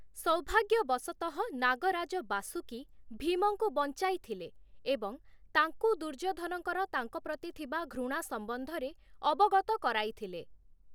ସୌଭାଗ୍ୟବଶତଃ, ନାଗ ରାଜ ବାସୁକି ଭୀମଙ୍କୁ ବଞ୍ଚାଇଥିଲେ ଏବଂ ତାଙ୍କୁ ଦୁର୍ଯ୍ୟୋଧନଙ୍କର ତାଙ୍କ ପ୍ରତି ଥିବା ଘୃଣା ସମ୍ବନ୍ଧରେ ଅବଗତ କରାଇଥିଲେ ।